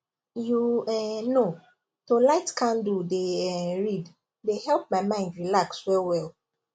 you um know to light candle dey um read dey help my mind relax well well